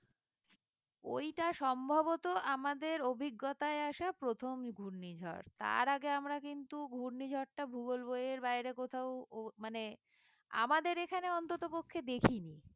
ওইটা সম্ভবত আমাদের অভিজ্ঞতায় আসা প্রথম ঘূর্ণিঝড় তার আগে আমরা কিন্তু ঘূর্ণিঝড় টা ভূগোল বইয়ের বাইরে কোথাও মানে আমাদের এখানে অন্ততপক্ষে দেখি নি